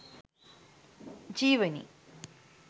jeewani